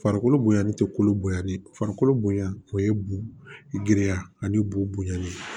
Farikolo bonya ni tɛ kolo bonyanni ye farikolo bonya o ye bo giriya ani bo bonyani